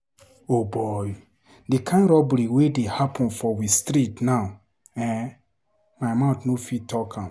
O boy! Di kind robbery wey dey happen for we street now ehn, my mouth no fit talk.